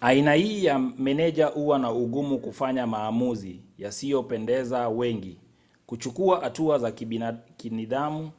aina hii ya meneja huwa na ugumu kufanya maamuzi yasiyopendeza wengi kuchukua hatua za kinidhamu